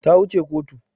Ta wu ce kotu